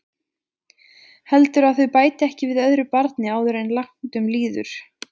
Heldurðu að þau bæti ekki við öðru barni áður en langt um líður?